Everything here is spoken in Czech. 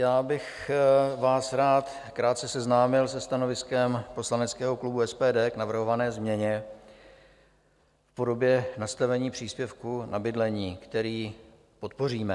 Já bych vás rád krátce seznámil se stanoviskem poslaneckého klubu SPD k navrhované změně v podobě nastavení příspěvku na bydlení, který podpoříme.